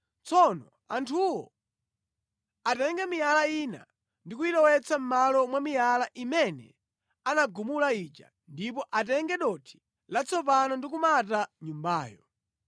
Tsono anthuwo atenge miyala ina ndi kuyilowetsa mʼmalo mwa miyala imene anagumula ija ndipo atenge dothi latsopano ndi kumata nyumbayo.